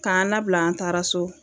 K'an labila an taara so